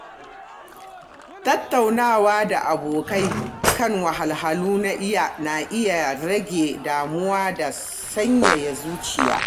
Tattaunawa da abokai kan wahalhalu na iya rage damuwa da sanyaya zuciya.